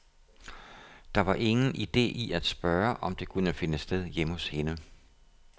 Der var ingen ide i at spørge, om det kunne finde sted hjemme hos hende.